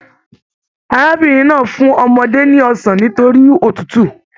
Arábìnrin náà fún ọmọdé ní ọsán nitori òtútù.